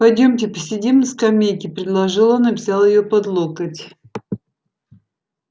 пойдёмте посидим на скамейке предложил он и взял её под локоть